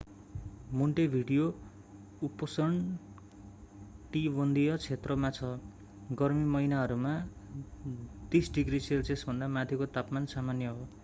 Montevideo उपोष्णकटिबंधीय क्षेत्रमा छ; गर्मी महिनाहरूमा +30°cभन्दा माथिको तापमान सामान्य हो।